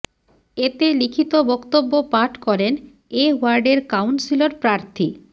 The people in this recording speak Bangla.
এতে লিখিত বক্তব্য পাঠ করেন এ ওয়ার্ডের কাউন্সিলর প্রার্থী